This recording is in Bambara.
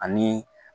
Ani